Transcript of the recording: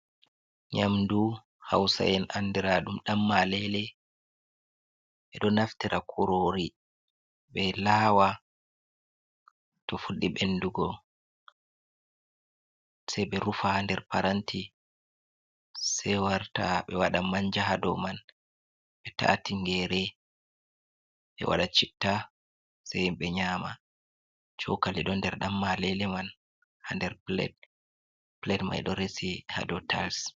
Nyamdu hausa’en andra ɗum dan malele ɓeɗo naftira kurori ɓe lawa to fuɗɗi ɓendugo se ɓe rufa ha nder paranti se warta ɓe wada manja ha dou man ɓe ta'a tingere ɓe wada citta sai ɓe nyama cokali ɗo nder dan malele man ha nder plade mai ɗo resi ha dou tils.